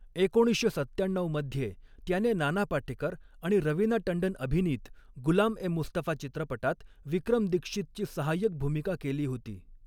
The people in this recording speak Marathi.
एकोणीसशे सत्त्याण्णऊ मध्ये, त्याने नाना पाटेकर आणि रवीना टंडन अभिनीत गुलाम ए मुस्तफा चित्रपटात विक्रम दीक्षितची सहाय्यक भूमिका केली होती.